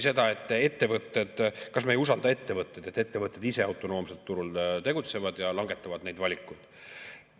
Ja et kas me ei usalda ettevõtteid, et ettevõtted ise autonoomselt turul tegutsevad ja langetavad neid valikuid.